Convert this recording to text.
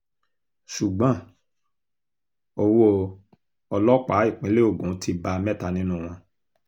ṣùgbọ́n owó ọlọ́pàá ìpínlẹ̀ ogun ti bá mẹ́ta nínú wọn